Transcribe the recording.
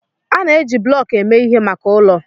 A na-eji bloku eme ihe maka ụlọ.